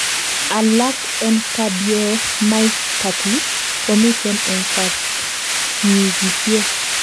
alak en cardiomyopathy komiten en kapchiisiek